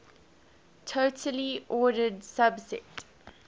totally ordered subset